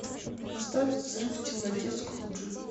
поставь взрыв в темноте скруджи